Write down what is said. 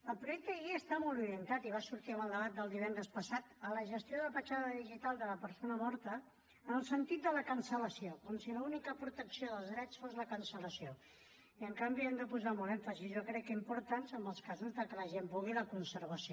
el projecte de llei està molt orientat i va sortir en el debat de divendres passat a la gestió de petjada digital de la persona morta en el sentit de la cancel·lació com si l’única protecció dels drets fos la cancel·lació i en canvi hem de posar molt èmfasi jo crec que important en els casos de que la gent vulgui la conservació